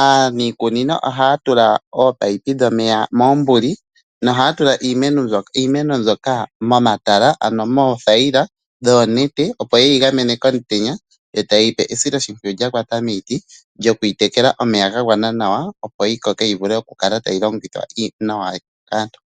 Aanikunino oha tula opipe dhomeya moombuli noha tula iimeno mboya momatala ano mothayila dhonete opo yeyi gamene komutenya tayeyi sile esiloshimpwiyu lyakwata miiti lyoku yi tekela omeya ga gwana nawa opoyi koke nawa yivule oku kala tayi longithwa nawa kaantu.